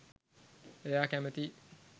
එයා කැමතියි